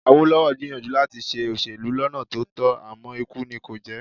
Awólọ́wọ̀ gbìyànjú láti ṣe òṣèlú lọ́nà tó tọ́ àmọ́ ikú nì kò jẹ́